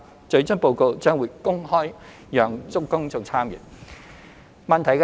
最終報告將會公開讓公眾參閱。